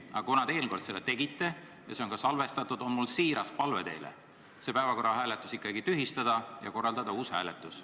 Aga kuna te eelmine kord seda tegite ja see on ka salvestatud, siis on mul teile siiras palve senine päevakorra hääletus ikkagi tühistada ja korraldada uus hääletus.